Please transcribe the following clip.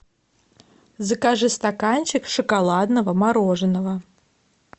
закажи стаканчик шоколадного мороженого